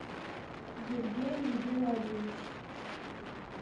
евгений геннадьевич